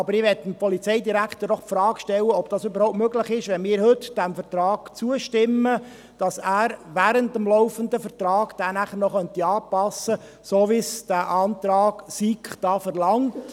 Aber ich möchte dem Polizeidirektor doch die Frage stellen, ob es überhaupt möglich ist, wenn wir heute diesem Vertrag zustimmen, dass er ihn während der laufenden Vertragsdauer noch anpasst, so wie es der Antrag SiK hier verlangt.